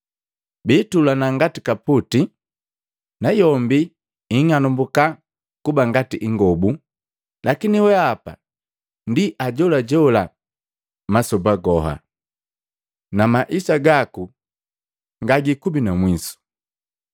Biitulana ngati kaputi, nayombi ing'anambuka kuba ngati ingobu. Lakini weapa ndi ajolajola masoba goha, na Maisa gaku ngagiikubi na mwiso.”